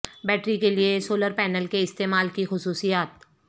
battery کے لئے solar panel کے استعمال کی خصوصیات